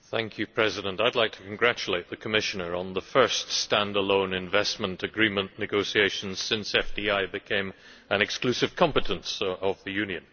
Mr President, I would like to congratulate the Commissioner on the first stand alone investment agreement negotiation since FDI became an exclusive competence of the Union.